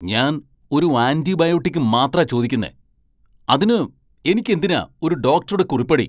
ഞാൻ ഒരു ആന്റിബയോട്ടിക് മാത്രാ ചോദിക്കുന്നേ! അതിനു എനിക്ക് എന്തിനാ ഒരു ഡോക്ടറുടെ കുറിപ്പടി ?